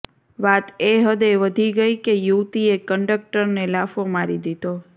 વાત એ હદે વધી ગઈ કે યુવતીએ કંડક્ટરને લાફો મારી દીધો